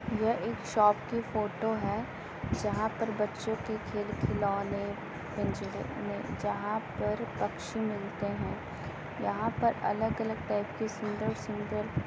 यह एक शॉप की फोटो है जहाँ पर बच्चों के खेल खिलौने पिंजरे में जहाँ पर पक्षी मिलते हैं यहाँ पर अलग-अलग टाइप के सुंदर-सुंदर --